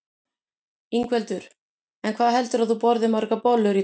Ingveldur: En hvað heldurðu að þú borðir margar bollur í dag?